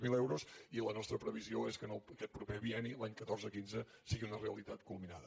zero euros i la nostra previsió és que aquest proper bienni l’any catorze quinze sigui una realitat culminada